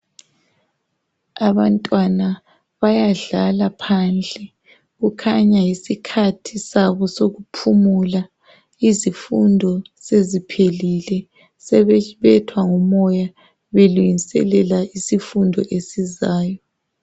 Abantwana bayadlala phandle .Kukhanya yisikhathi sabo sokuphumula. Izifundo seziphelile ,sebebethwa ngumoya belungiselela isifundo esizayo.